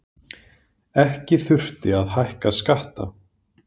Ekki þurfti að hækka skatta